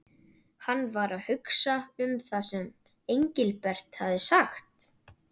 Hann var að hugsa um það sem Engilbert hafði sagt.